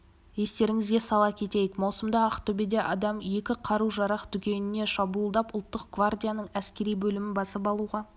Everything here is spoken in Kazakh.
естеріңізге сала кетейік маусымда ақтөбеде адам екі қару-жарақ дүкеніне шабуылдап ұлттық гвардияның әскери бөлімін басып алуға